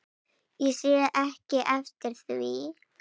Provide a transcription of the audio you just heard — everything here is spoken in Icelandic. Ég sé ekki eftir því.